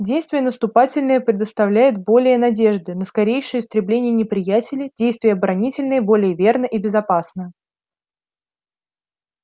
действие наступательное предоставляет более надежды на скорейшее истребление неприятеля действие оборонительное более верно и безопасно